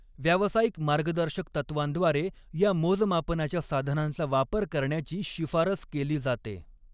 व्यावसायिक मार्गदर्शक तत्त्वांद्वारे या मोजमापनाच्या साधनांचा वापर करण्याची शिफारस केली जाते.